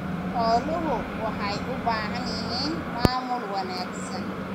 Xooluhu waxay u baahan yihiin maamul wanaagsan.